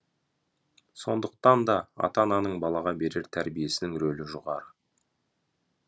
сондықтан да ата ананың балаға берер тәрбиесінің рөлі жоғары